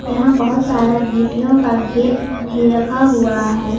यहां बहुत सारा गिट्टियों का घेर भी रखा हुआ है।